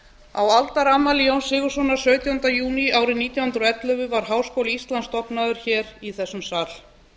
á aldarafmæli jóns sigurðssonar sautjánda júní árið nítján hundruð og ellefu var háskóli íslands stofnaður í þessum sal